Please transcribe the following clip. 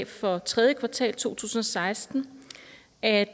for tredje kvartal to tusind og seksten at